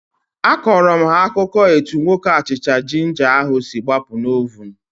Akọrọ m ha akụkọ etu nwoke achịcha jinja ahu si gbapụ na ovunu